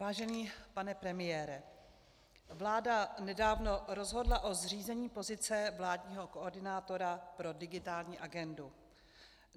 Vážený pane premiére, vláda nedávno rozhodla o zřízení pozice vládního koordinátora pro digitální agendu.